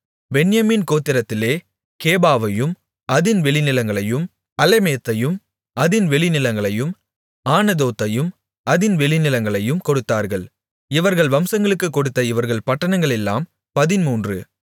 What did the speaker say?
பென்யமீன் கோத்திரத்திலே கேபாவையும் அதின் வெளிநிலங்களையும் அலெமேத்தையும் அதின் வெளிநிலங்களையும் ஆனதோத்தையும் அதின் வெளிநிலங்களையும் கொடுத்தார்கள் இவர்கள் வம்சங்களுக்குக் கொடுத்த இவர்கள் பட்டணங்களெல்லாம் பதின்மூன்று